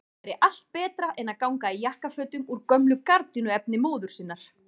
Það væri allt betra en að ganga í jakkafötum úr gömlu gardínuefni móður sinnar!